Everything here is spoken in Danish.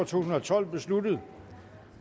tusind og tolv besluttet